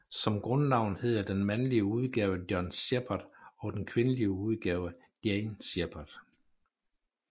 Som grundnavn hedder den mandlige udgave John Shepard og den kvindelige udgave Jane Shepard